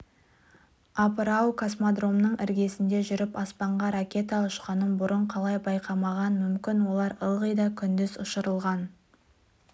апыр-ау космодромның іргесінде жүріп аспанға ракета ұшқанын бұрын қалай байқамаған мүмкін олар ылғи да күндіз ұшырылған